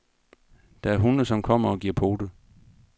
Der er hunde, som kommer og giver pote.